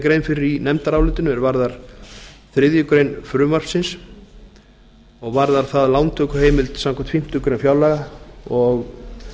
grein fyrir í nefndarálitinu er varðar þriðju greinar frumvarpsins og varðar það að lántökuheimild samkvæmt fimmtu grein fjárlaga og